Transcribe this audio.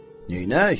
Neynək?